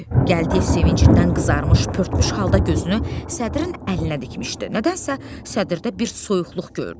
Gəldiyev sevincindən qızarmış, pörtmüş halda gözünü sədrin əlinə dikmişdi, nədənsə sədirdə bir soyuqluq gördü.